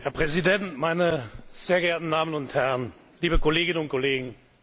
Herr Präsident, meine sehr geehrten Damen und Herren, liebe Kolleginnen und Kollegen!